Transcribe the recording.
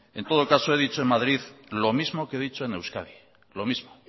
en todo caso he dicho en madrid lo mismo que he dicho en euskadi lo mismo